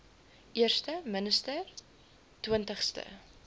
eerste minister twintigste